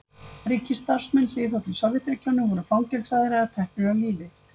ríkisstarfsmenn hliðhollir sovétríkjunum voru fangelsaðir eða teknir af lífi